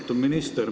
Austatud minister!